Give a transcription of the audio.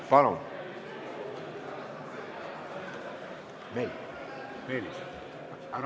Palun!